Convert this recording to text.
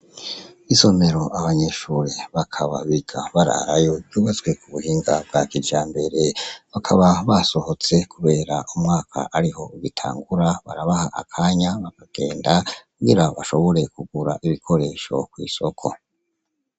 Isomero abanyeshure bakaba biga bararayo, ryubatswe k'ubuhinga bwa kijambere ,bakaba basohotse kubera umwaka ariho ugitangura barabaha akanya bakagenda kugira bashobore kugura ibikoresho kw'isoko.